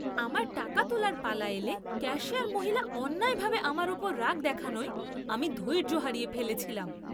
আমার টাকা তোলার পালা এলে ক্যাশিয়ার মহিলা অন্যায়ভাবে আমার ওপর রাগ দেখানোয় আমি ধৈর্য হারিয়ে ফেলেছিলাম।